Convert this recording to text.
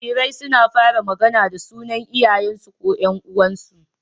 Jarirai suna fara magAna da sunan Iyayen su ko Yan uwansu